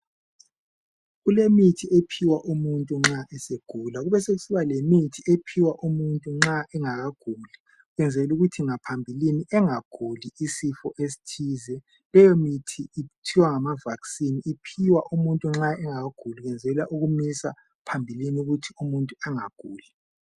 Kulemithi ephiwa umuntu nxa egula besekuba lemithi ephiwa umuntu nxa engaguli ukwenzela ukuthi ngaphambilini engaguli isifo esithize leyo mithi kuthiwa ngama vaccine.